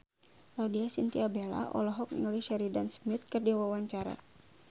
Laudya Chintya Bella olohok ningali Sheridan Smith keur diwawancara